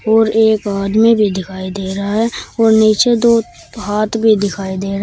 और एक आदमी भी दिखाई दे रहा है और नीचे दो हाथ भी दिखाई दे रहा--